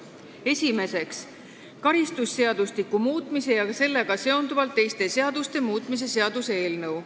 Esimeseks, karistusseadustiku muutmise ja sellega seonduvalt teiste seaduste muutmise seaduse eelnõu.